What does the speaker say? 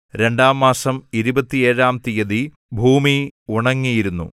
രണ്ടാം മാസം ഇരുപത്തേഴാം തീയതി ഭൂമി ഉണങ്ങിയിരുന്നു